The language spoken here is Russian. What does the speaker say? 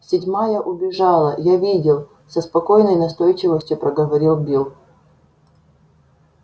седьмая убежала я видел со спокойной настойчивостью проговорил билл